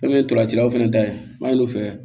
Ne ye ntolancilaw fana ta yen an y'olu fɛ